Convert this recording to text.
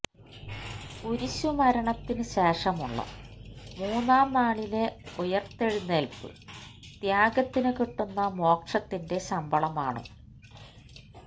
കുരിശുമരണത്തിനു ശേഷമുള്ള മൂന്നാം നാളിലെ ഉയിര്ത്തെഴുന്നേല്പ്പ് ത്യാഗത്തിനു കിട്ടുന്ന മോക്ഷത്തിന്റെ ശമ്പളമാണ്